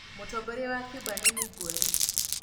Mũtongoria wa Cuba nĩ Miguel.